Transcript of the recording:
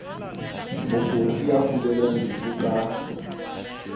mokudi ya kulelang lefu ka